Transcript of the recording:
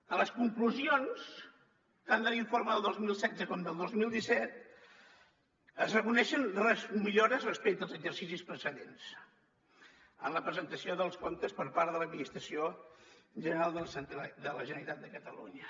a les conclusions tant de l’informe del dos mil setze com del dos mil disset es reconeixen millores respecte als exercicis precedents en la presentació dels comptes per part de l’administració general de la generalitat de catalunya